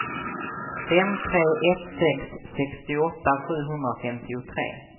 fem tre ett sex sextioåtta sjuhundrafemtiotre